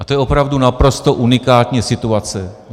A to je opravdu naprosto unikátní situace.